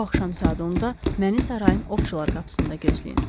Bu axşam saat onda məni sarayın ovçular qapısında gözləyin.